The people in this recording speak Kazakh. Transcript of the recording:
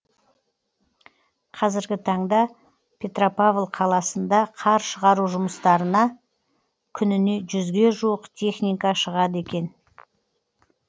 қазіргі таңда петропавл қаласында қар шығару жұмыстарына күніне жүзге жуық техника шығады екен